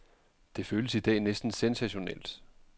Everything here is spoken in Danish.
Det føles i dag næsten sensationelt.